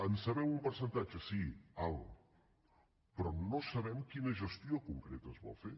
en sabem un percentatge sí alt però no sabem quina gestió concreta es vol fer